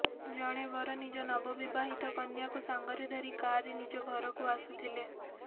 ଜଣେ ବର ନିଜ ନିବବିବାହିତ କନ୍ୟାକୁ ସାଙ୍ଗରେ ଧରି କାରରେ ନିଜ ଘରକୁ ଆସୁଥିଲେ